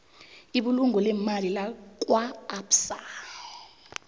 ibulungo leemali lakwaabsa